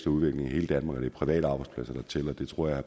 udvikling i hele danmark og det er private arbejdspladser der tæller det tror jeg at